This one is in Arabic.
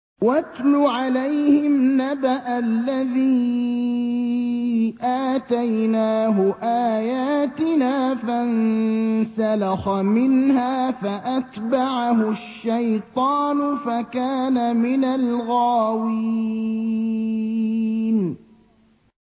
وَاتْلُ عَلَيْهِمْ نَبَأَ الَّذِي آتَيْنَاهُ آيَاتِنَا فَانسَلَخَ مِنْهَا فَأَتْبَعَهُ الشَّيْطَانُ فَكَانَ مِنَ الْغَاوِينَ